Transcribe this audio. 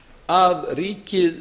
að ríkið